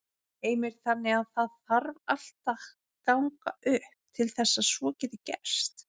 Heimir: Þannig að það þarf allt að ganga upp til þess að svo geti gerst?